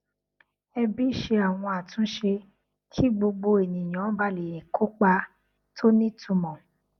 ẹbí ṣe àwọn àtúnṣe kí gbogbo ènìyàn ba lè kópa tó ní ìtumọ